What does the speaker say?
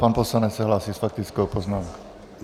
Pan poslanec se hlásí s faktickou poznámkou.